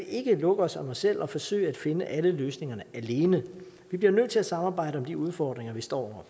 ikke lukke os om os selv og forsøge at finde alle løsningerne alene vi bliver nødt til at samarbejde om de udfordringer vi står